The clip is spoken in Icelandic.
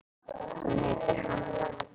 Hún heitir Hanna.